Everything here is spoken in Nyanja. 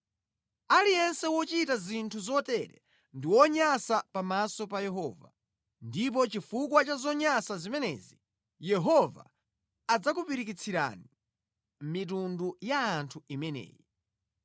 Aliyense wochita zinthu zotere ndi wonyansa pamaso pa Yehova, ndipo chifukwa cha zonyansa zimenezi Yehova adzakupirikitsirani mitundu ya anthu imeneyi.